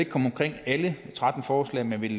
komme omkring alle tretten forslag men vil